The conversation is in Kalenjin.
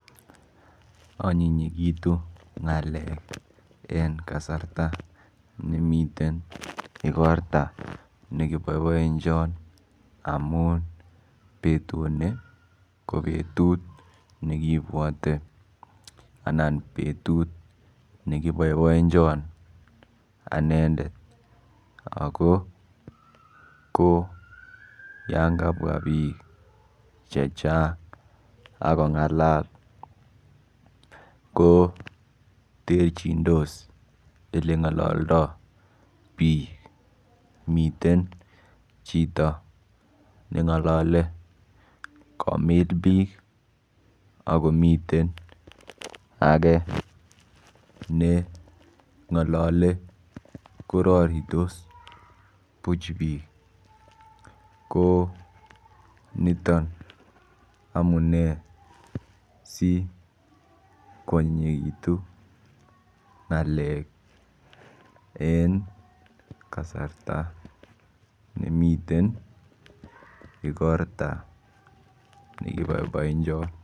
onyinyigitu ngaleek en kasarta nemiten igorto negiboiboenchon emuun betut ni ko betut negibwote anan betut negiboiboenchon anendet, ago ko yaan kabwa biik chechang ak kongalal ko terchindoos elengololdoo biik, miten chito nengolole bagomiil biik ak komiten age nengolole kororitos buch biik, ko niton amunee si kwonyinyegitu ngaleek en kasarta nemiten igorta negiboiboenchon.